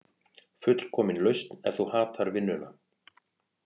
Fullkomin lausn ef þú hatar vinnuna